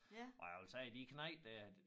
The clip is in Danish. Og jeg ville sige de knejte dér